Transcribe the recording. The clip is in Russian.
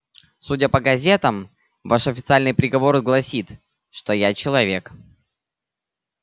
судя по газетам ваш официальный приговор гласит что я человек